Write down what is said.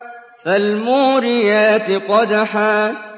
فَالْمُورِيَاتِ قَدْحًا